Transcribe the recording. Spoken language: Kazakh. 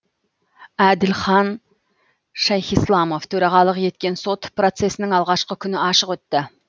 әділхан шайхисламов төрағалық еткен сот процесінің алғашқы күні ашық өтті